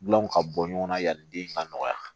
Gulɔw ka bɔ ɲɔgɔnna yanni den ka nɔgɔya